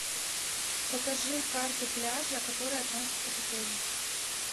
покажи карту пляжа которая относится к отелю